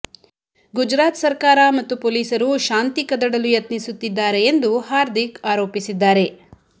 ಗುಜರಾತ್ ಸರ್ಕಾರ ಮತ್ತು ಪೊಲೀಸರು ಶಾಂತಿ ಕದಡಲು ಯತ್ನಿಸುತ್ತಿದ್ದಾರೆ ಎಂದು ಹಾರ್ದಿಕ್ ಆರೋಪಿಸಿದ್ದಾರೆ